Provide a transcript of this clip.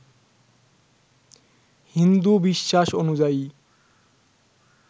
হিন্দু বিশ্বাস অনুযায়ী